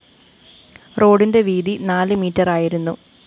റോഡിന്റെ വീതി നാല് മീറ്ററായിരുന്നു